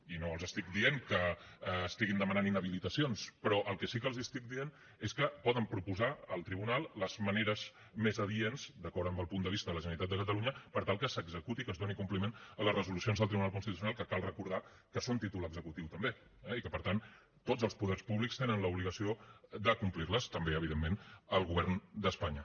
i no els estic dient que demanin inhabilitacions però el que sí que els estic dient és que poden proposar al tribunal les maneres més adients d’acord amb el punt de vista de la generalitat de catalunya per tal que es doni compliment a les resolucions del tribunal constitucional que cal recordar que són títol executiu també eh i per tant tots els poders públics tenen l’obligació de complir les també evidentment el govern d’espanya